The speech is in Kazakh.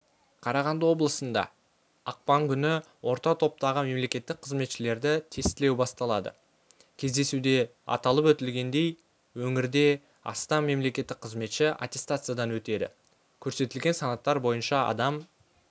қарағанды облысында ақпан күні орта топтағы мемқызметшілерді тестілеу басталады кездесуде аталып өтілгендей өңірде астам мемқызметші аттестациядан өтеді көрсетілген санаттар бойынша адам